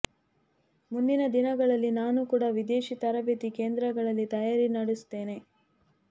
ಮುಂದಿನ ದಿನಗಳಲ್ಲಿ ನಾನು ಕೂಡ ವಿದೇಶಿ ತರಬೇತಿ ಕೇಂದ್ರಗಳಲ್ಲಿ ತಯಾರಿ ನಡೆಸುತ್ತೇನೆ